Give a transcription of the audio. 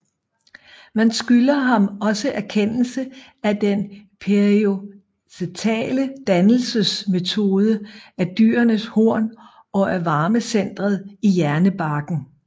Man skylder ham også erkendelsen af den periostale dannelsesmetode af dyrenes horn og af varmecentret i hjernebarken